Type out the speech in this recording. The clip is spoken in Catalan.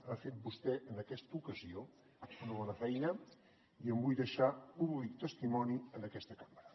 ha fet vostè en aquesta ocasió una bona feina i en vull deixar púbic testimoni en aquesta cambra